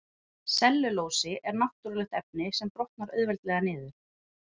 Sellulósi er náttúrulegt efni sem brotnar auðveldlega niður.